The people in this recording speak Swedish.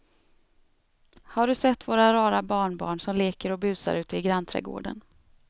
Har du sett våra rara barnbarn som leker och busar ute i grannträdgården!